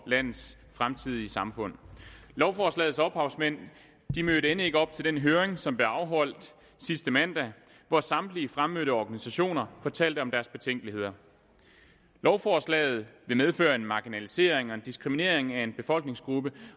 landets fremtidige samfund lovforslagets ophavsmænd mødte end ikke op til den høring som blev afholdt sidste mandag hvor samtlige fremmødte organisationer fortalte om deres betænkeligheder lovforslaget vil medføre en marginalisering og en diskriminering af en befolkningsgruppe